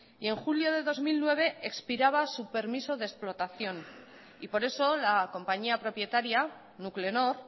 y en julio de dos mil nueve expiraba su permiso de explotación y por eso la compañía propietaria nuclenor